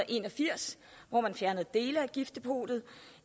en og firs hvor man fjernede dele af giftdepotet